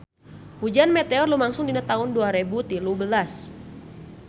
Hujan meteor lumangsung dina taun dua rebu tilu belas